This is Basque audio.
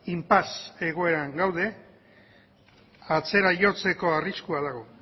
inpasse egoeran gaude atzera jotzeko arriskua dago